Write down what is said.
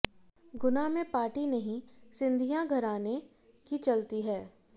गुना में पार्टी नहीं सिंधिया घराने की चलती है